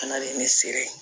A nalen ne se ye